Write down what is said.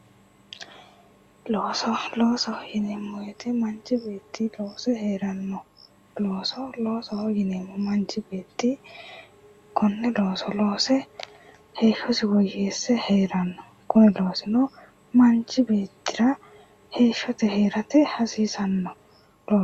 looso loosoho yineemmowoyite manchi beetti loose heeranno looso yineemmo manchi beetti konne looso loose heeshshosi woyyeesse heeranno kuni loosino manchi beettira heeshshote heerate hasiisanno.